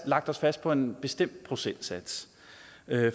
lagt os fast på en bestemt procentsats